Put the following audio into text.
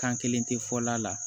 Kan kelen tɛ fɔ la